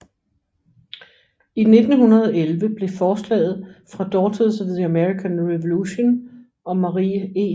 I 1911 blev forslaget fra Daughters of the American Revolution og Marie E